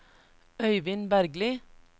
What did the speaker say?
Øivind Bergli